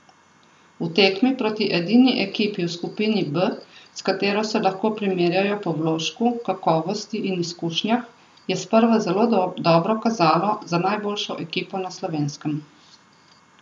V tekmi proti edini ekipi v skupini B, s katero se lahko primerjajo po vložku, kakovosti in izkušnjah, je sprva zelo dobro kazalo za najboljšo ekipo na Slovenskem.